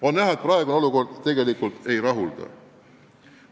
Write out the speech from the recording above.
On näha, et praegune olukord tegelikult ei rahulda.